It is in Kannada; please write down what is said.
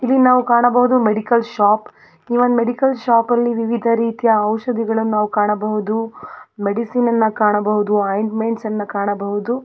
ಇಲ್ಲಿ ನಾವು ಕಾಣಬಹುದು ಮೆಡಿಕಲ್ ಶಾಪ್ ಈ ಒಂದ ಮೆಡಿಕಲ್ ಶಾಪ್ ಅಲ್ಲಿ ವಿವಿಧರೀತಿಯ ಔಷಧಿಗಳನ್ನು ಕಾಣಬಹುದು ಮೆಡಿಸಿನ್ ಅನ್ನ ಕಾಣಬಹುದು ಒಯಿಂಟ್ಮೆಂಟ್ಸ್ ಅನ್ನ ಕಾಣಬಹುದು.